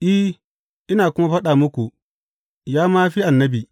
I, ina kuma faɗa muku, ya ma fi annabi.